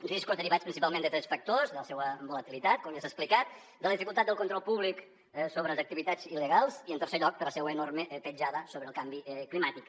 riscos derivats principalment de tres factors de la seua volatilitat com ja s’ha explicat de la dificultat del control públic sobre les activitats il·legals i en tercer lloc per la seua enorme petjada sobre el canvi climàtic